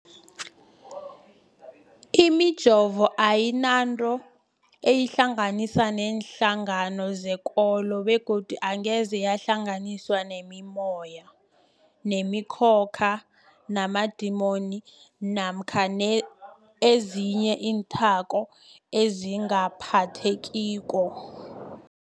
Imijovo ayinanto eyihlanganisa neenhlangano zekolo begodu angeze yahlanganiswa nemimoya, nemi khokha, namadimoni namkha ezinye iinthako ezingaphathekiko.